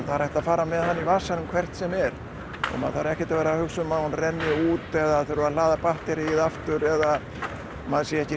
það er hægt að fara með hana í vasanum hvert sem er það þarf ekkert að hugsa um að hún renni út eða þurfi að hlaða batteríið eða maður sé ekki